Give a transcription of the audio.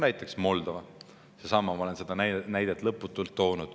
Näiteks Moldova, ma olen seda näidet lõputult toonud.